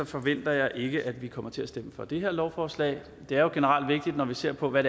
forventer jeg ikke at vi kommer til at stemme for det her lovforslag det er jo generelt vigtigt når vi ser på hvad